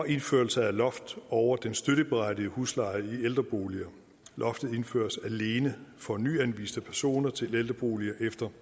indførelse af et loft over den støtteberettigede husleje i ældreboliger loftet indføres alene for nyanviste personer til ældreboliger efter